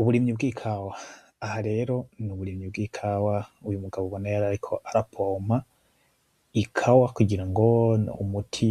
Uburimyi bwikawa, aha rero nuburimyi bwikawa uyu mugabo ubona yarariko ara pompa ikawa kugira ngo umuti